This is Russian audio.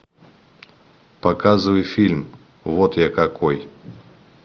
показывай фильм вот я какой